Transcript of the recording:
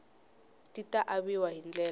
ti ta aviwa hi ndlela